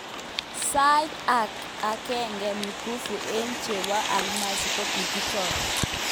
Saitnyi ak agenge mikufu aeg chepo almasi kokikichor.